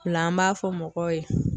O la an b'a fɔ mɔgɔw ye